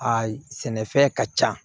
A sɛnɛfɛn ka ca